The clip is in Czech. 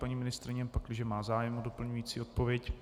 Paní ministryně, pakliže má zájem o doplňující odpověď.